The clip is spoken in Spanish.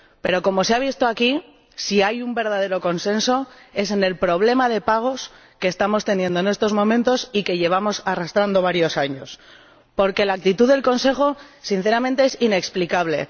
Pero —como se ha visto aquí—, si hay un verdadero consenso es en el problema de pagos que estamos teniendo en estos momentos y que llevamos arrastrando varios años, porque la actitud del Consejo, sinceramente, es inexplicable.